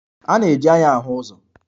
A na-eji anya ahu ụzọ